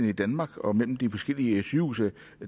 i danmark og mellem de forskellige sygehuse